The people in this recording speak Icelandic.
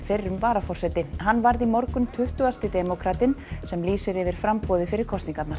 fyrrum varaforseti hann varð í morgun tuttugasti demókratinn sem lýsir yfir framboði fyrir kosningarnar